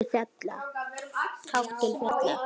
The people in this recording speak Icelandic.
Hátt til fjalla?